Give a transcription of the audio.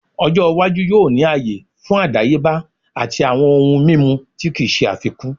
Ojo iwaju yoo ni aaye fun adayeba ati awọn ohun mimu ti kii ṣe afikun